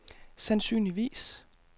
sandsynligvis